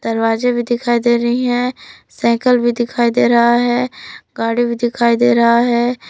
दरवाजे भी दिखाई दे रही हैं साइकिल भी दिखाई दे रहा है गाड़ी भी दिखाई दे रहा है।